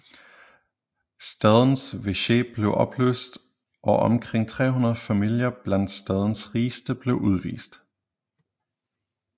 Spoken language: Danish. Stadens veche blev opløst og omkring 300 familier blandt stadens rigeste blev udvist